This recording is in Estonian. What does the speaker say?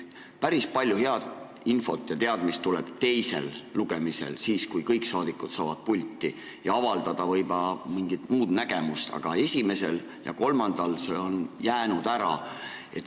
Päris palju infot ja teadmist tuleb teisel lugemisel, kui kõik saadikud saavad pulti tulla ja avaldada mingit muud nägemust, aga esimesel ja kolmandal lugemisel on see ära jäänud.